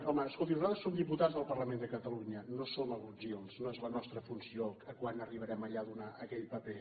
home escolti nosaltres som diputats del parlament de catalunya no som agutzils no és la nostra funció quan arribarem allà a donar aquell paper